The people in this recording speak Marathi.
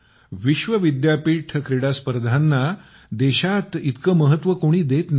विश्व विद्यापीठ क्रीडाना देशात इतक कोणी महत्व देत नाही